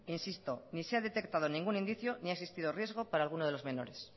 insisto ni se ha detectado ningún indicio ni ha existido riesgo para alguno de los menores